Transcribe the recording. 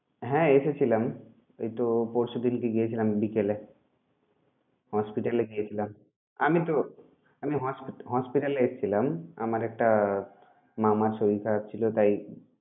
হ্যাঁ এসে ছিলাম। ওই তো পরশু দিনকে গিয়েছিলাম বিকেলে Hospital এ গিয়েছিলাম আমি তো, আমি hospt~ hospital এসছিলাম আমার একটা মামার শরীর খারাপ ছিল তাই